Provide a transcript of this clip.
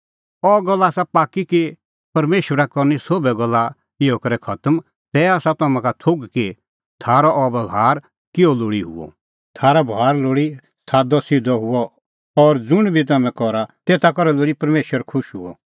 अह गल्ल आसा पाक्की कि परमेशरा करनी सोभै गल्ला इहअ करै खतम तै आसा तम्हां का थोघ कि थारअ बभार किहअ लोल़ी हुअ थारअ बभार लोल़ी सादअसिधअ हुअ और ज़ुंण बी तम्हैं करा तेता करै लोल़ी परमेशर खुश हुअ